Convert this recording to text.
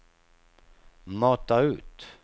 mata ut